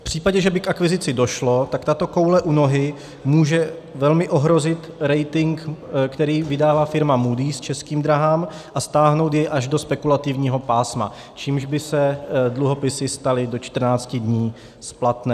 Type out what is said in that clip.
V případě, že by k akvizici došlo, tak tato koule u nohy může velmi ohrozit rating, který vydává firma Moody's Českým dráhám, a stáhnout jej až do spekulativního pásma, čímž by se dluhopisy staly do 14 dní splatné.